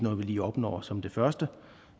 lige opnår som det første